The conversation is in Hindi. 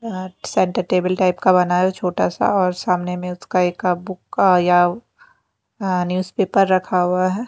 अह सेंटर टेबल टाइप का बना है छोटा सा और सामने में उसका एक बुक का या अ न्यूज़पेपर रखा हुआ है।